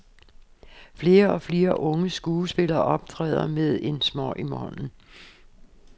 Flere og flere unge skuespillere optræder med en smøg i hånden.